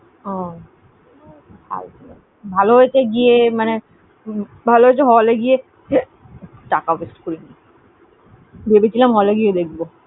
উহ হ্যাঁ ফালতু, ভালো হয়েছে মানে~মানে basically ভালো হয়েছে হল এ গিয়ে টাকা waste করিনি। ভেবেছিলাম হল এ গিয়ে দেখবো